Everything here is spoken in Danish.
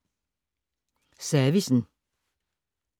Servicen